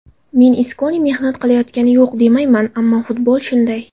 Men Iskoni mehnat qilayotgani yo‘q demayman, ammo futbol shunday.